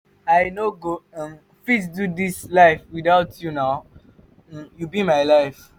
i no go um fit do dis life witout you na um you be my life.